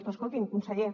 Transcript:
però escolti’m conseller